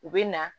U bɛ na